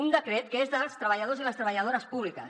un decret que és dels treballadors i les treballadores públiques